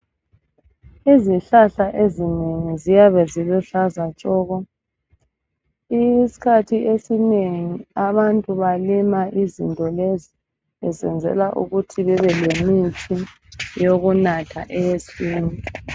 Izihlahla ezinengi ziyabe ziluhlaza tshoko isikhathi esinengi abantu balima izinto lezi besenzela ukuthi bebemithi yokunatha